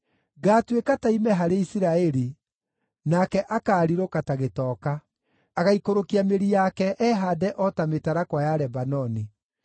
Ngaatuĩka ta ime harĩ Isiraeli; nake akaarirũka ta gĩtoka. Agaikũrũkia mĩri yake ehaande o ta mĩtarakwa ya Lebanoni.